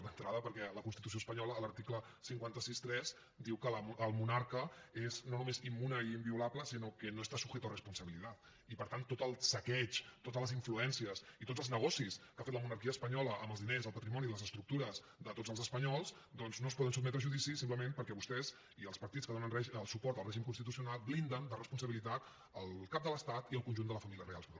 d’entrada perquè la constitució espanyola a l’article cinc cents i seixanta tres diu que el monarca és no només immune i inviolable sinó que no está sujeto a responsabilidad i per tant tot el saqueig totes les influències i tots els negocis que ha fet la monarquia espanyola amb els diners el patrimoni i les estructures de tots els espanyols doncs no es poden sotmetre a judici simplement perquè vostès i els partits que donen suport al règim constitucional blinden de responsabilitat el cap de l’estat i el conjunt de la família reial espanyola